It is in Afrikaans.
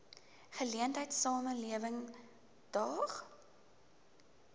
geleentheid samelewing daag